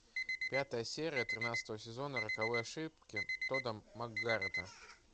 пятая серия тринадцатого сезона роковой ошибки тода маккгарета